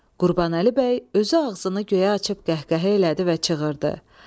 Qurbanəli bəy özü ağzını göyə açıb qəhqəhə elədi və çığırdı: